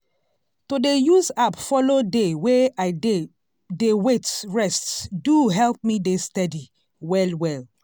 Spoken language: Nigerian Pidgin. to dey use app follow dey way i dey dey wait rest do help me dey steady well well.